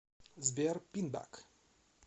сбер пинбэк